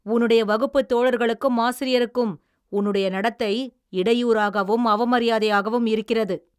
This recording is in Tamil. உன்னுடைய வகுப்புத் தோழர்களுக்கும் ஆசிரியருக்கும் உன்னுடைய நடத்தை இடையூறாகவும் அவமரியாதையாகவும் இருக்கிறது.